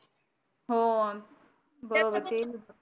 हो बरोबर